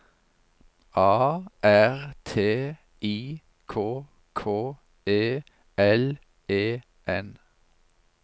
A R T I K K E L E N